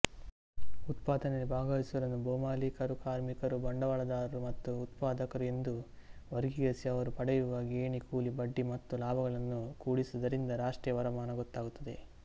ಉತ್ಪಾದನೆಯಲ್ಲಿ ಭಾಗವಹಿಸುವವರನ್ನು ಭೊಮಾಲೀಕರುಕಾರ್ಮಿಕರುಬಂಡವಾಳದಾರರು ಮತ್ತು ಉತ್ಪಾದಕರು ಎಂದು ವರ್ಗೀಕರಿಸಿಅವರು ಪಡೆಯುವ ಗೇಣಿಕೂಲಿಬಡ್ಡಿ ಮತ್ತು ಲಾಭಗಳನ್ನು ಕೂಡಿಸುವದರಿಂದ ರಾಷ್ಟ್ರೀಯ ವರಮಾನ ಗೊತ್ತಾಗುತ್ತದೆ